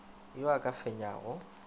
yo a ka o fenyago